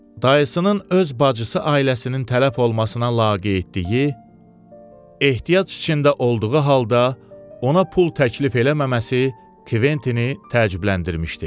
Dayısının öz bacısı ailəsinin tələf olmasına laqeydliyi, ehtiyac içində olduğu halda ona pul təklif eləməməsi Kventini təəccübləndirmişdi.